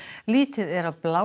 lítið er af